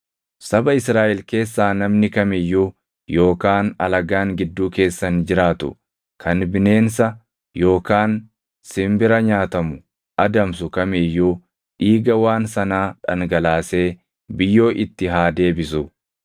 “ ‘Saba Israaʼel keessaa namni kam iyyuu yookaan alagaan gidduu keessan jiraatu kan bineensa yookaan simbira nyaatamu adamsu kam iyyuu dhiiga waan sanaa dhangalaasee biyyoo itti haa deebisu;